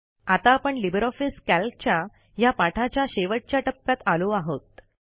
आता आपण LibreOffice कॅल्कच्या ह्या पाठाच्या शेवटच्या टप्प्यात आलो आहोत